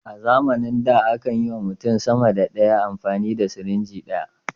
A zamanin da a kan yi wa mutum sama da ɗaya amfani da sirinji guda.